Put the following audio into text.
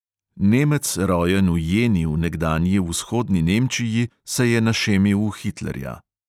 Nemec, rojen v jeni v nekdanji vzhodni nemčiji, se je našemil v hitlerja.